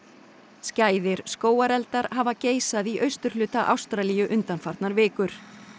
skæðir skógareldar hafa geisað í austurhluta Ástralíu undanfarnar vikur